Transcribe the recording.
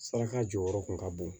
Saraka jɔyɔrɔ kun ka bon